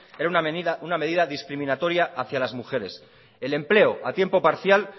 era una medida discriminatoria hacia las mujeres el empleo a tiempo parcial